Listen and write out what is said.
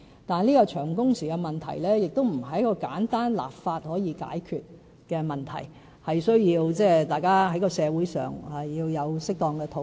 但是，長工時的問題，並不是經過簡單立法便可解決的問題，而是需要社會的適當討論。